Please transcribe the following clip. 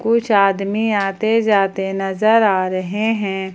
कुछ आदमी आते जाते नजर आ रहे हैं।